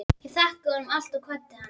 Ég þakkaði honum allt og kvaddi hann.